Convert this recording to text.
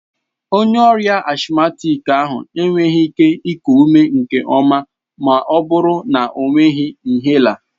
Onye ọrịa asthmatic ahụ enweghị ike iku ume nke ọma ma ọ bụrụ na ọ nweghị inhaler.